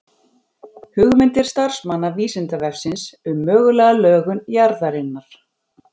Hugmyndir starfsmanna Vísindavefsins um mögulega lögun jarðarinnar.